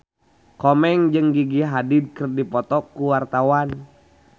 Komeng jeung Gigi Hadid keur dipoto ku wartawan